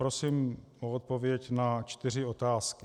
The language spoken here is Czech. Prosím o odpověď na čtyři otázky.